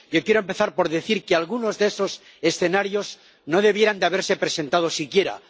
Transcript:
Yo quiero empezar por decir que algunos de esos escenarios no debieran de haberse presentado siquiera.